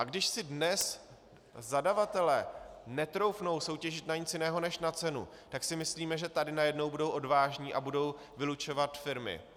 A když si dnes zadavatelé netroufnou soutěžit na nic jiného než na cenu, tak si myslíme, že tady najednou budou odvážní a budou vylučovat firmy.